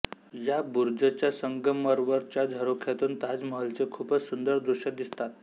या बुर्ज च्या संगमरवर च्या झरोख्यातून ताजमहलचे खूपच सुंदर दृश्य दिसतात